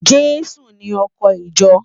Jesu ni òkò ijò